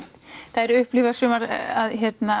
þær upplifa sumar að